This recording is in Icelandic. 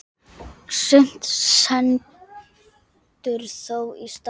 Sumt stendur þó í stað.